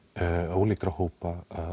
ólíkra hópa